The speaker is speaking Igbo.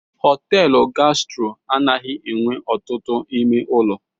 Họtelụ Gastro anaghị enwe ọtụtụ ime ụlọ.